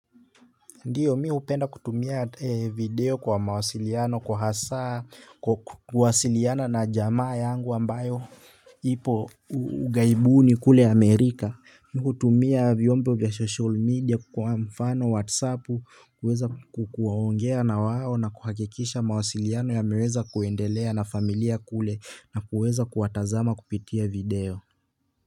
Ndiyo mimi hupenda kutumia video kwa mawasiliano kwa hasa kuwasiliana na jamaa yangu ambayo ipo ughaibuni kule Amerika. Mimi hutumia vyombo vya social media kwa mfano whatsapp kuweza kuongea na wao na kuhakikisha mawasiliano yameweza kuendelea na familia kule na kuweza kuwatazama kupitia video.